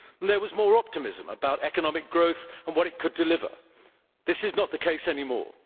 There was more optimism about economic growth and what it could deliver. This is not the case anymore.